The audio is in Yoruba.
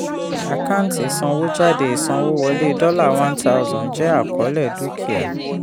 àkáńtì isanwójáde ìsawọ́wọlé dollar one thousand jẹ́ àkọọ́lẹ̀ dúkìá.